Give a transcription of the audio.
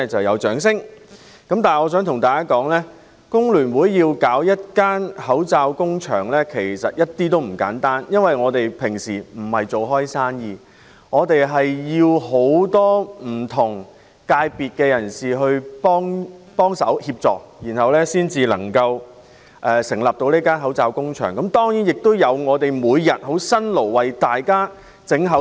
我想告訴大家，工聯會設立口罩工場，其實一點也不簡單，因為我們沒有營商經驗，需要很多不同界別人士協助，才能設立口罩工場，還要有義工每天辛勞地製造口罩。